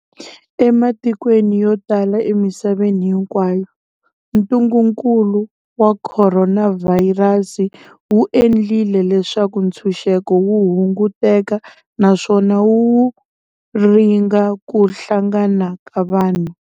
Ematikweni yo tala emisaveni hinkwayo, ntungukulu wa khoronavhayirasi wu endlile leswaku ntshuxeko wu hunguteka naswona wu ringa ku hlangana ka vanhu.